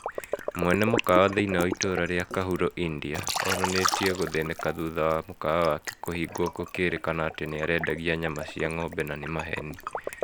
Mwene mũkawa thĩinĩ wa itũra rĩa kahuro India onanĩtie gũthĩnĩka thutha wa mũkawa wake kũhingwo gũkĩrĩkana atĩ nĩarendagia nyama cia ngombe na nĩ maheni